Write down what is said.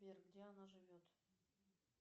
сбер где она живет